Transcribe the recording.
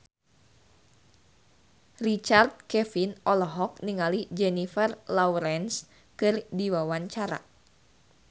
Richard Kevin olohok ningali Jennifer Lawrence keur diwawancara